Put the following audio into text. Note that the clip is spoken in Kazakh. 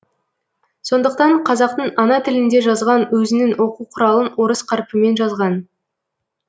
сондықтан қазақтың ана тілінде жазған өзінің оқу құралын орыс қарпімен жазған